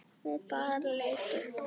Við bara leitum.